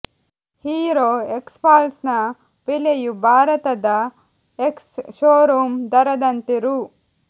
hero Xpulse ನ ಬೆಲೆಯು ಭಾರತದ ಎಕ್ಸ್ ಶೋರೂಂ ದರದಂತೆ ರೂ